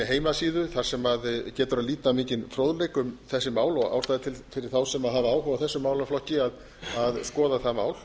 heimasíðu þar sem getur að líta mikinn fróðleik um þessi mál og ástæða til fyrir þá sem hafa áhuga á þessum málaflokki að skoða það mál